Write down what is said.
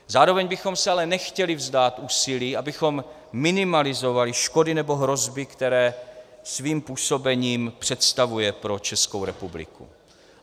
Zároveň bychom se ale nechtěli vzdát úsilí, abychom minimalizovali škody nebo hrozby, které svým působením představuje pro Českou republiku.